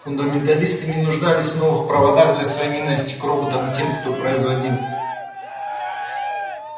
фундаменталисты не нуждались в новых проводах для своей ненасти к роботам и к тем кто их производил